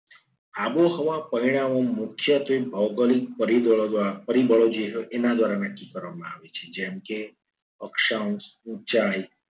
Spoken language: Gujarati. આબોહવા પરિણામો મુખ્યત્વે ભૌગોલિક પરિબળો દ્વારા પરિબળો જે એના દ્વારા કરવામાં આવે છે. જેમ કે અક્ષાંશ ઊંચાઈ